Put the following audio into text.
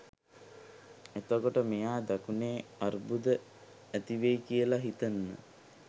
එතකොට මෙයා දකුණේ අර්බුද ඇතිවෙයි කියලා හිතන